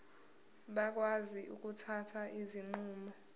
bakwazi ukuthatha izinqumo